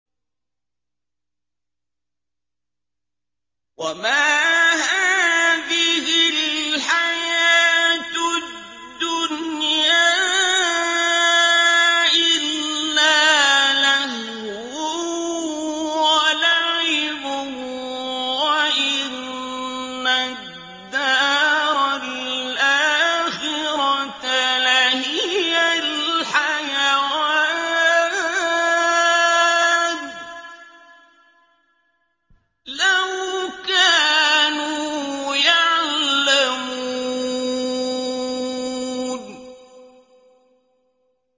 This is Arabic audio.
وَمَا هَٰذِهِ الْحَيَاةُ الدُّنْيَا إِلَّا لَهْوٌ وَلَعِبٌ ۚ وَإِنَّ الدَّارَ الْآخِرَةَ لَهِيَ الْحَيَوَانُ ۚ لَوْ كَانُوا يَعْلَمُونَ